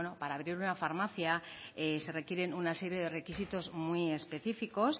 para abrir una farmacia se requieren una serie de requisitos muy específicos